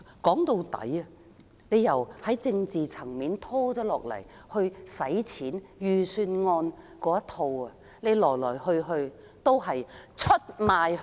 說到底，由政治層面到預算案，來來去去始終是出賣香港！